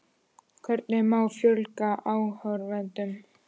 Hvernig má fjölga áhorfendum?